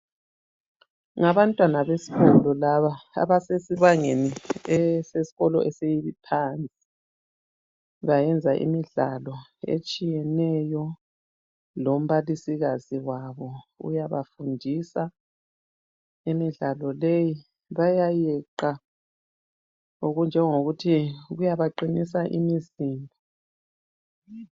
Ngabantwana besikolo laba abasesibangeni esesikolo esiphansi. Bayenza imidlalo etshiyeneyo lombalisikazi wabo uyabafundisa imidlalo leyi, bayayeqa. Okunjengokuthi uyabaqinisa imizimba